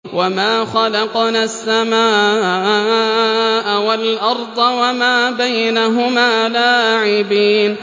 وَمَا خَلَقْنَا السَّمَاءَ وَالْأَرْضَ وَمَا بَيْنَهُمَا لَاعِبِينَ